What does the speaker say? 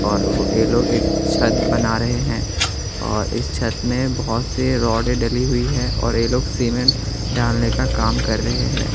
और ये लोग एक छत बना रहे है और इस छत में बहोत से रॉडे डली हुई है और ये लोग सीमेंट डालने का काम कर रहे है।